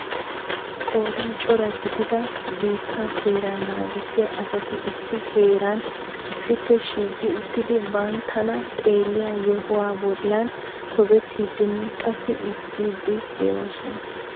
qoodan cora gidida biittee seera naagissiya asati issi heeran issippe shiiqi uttidi banttana xeelliya yohuwa bollan tobbetiidinne qassi ezggidi de'oosona.